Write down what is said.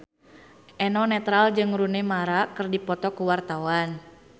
Eno Netral jeung Rooney Mara keur dipoto ku wartawan